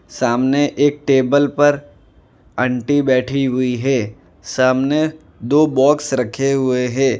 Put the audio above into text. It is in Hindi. सामने एक टेबल पर आंटी बैठी हुई है सामने दो बॉक्स रखे हुए हैं।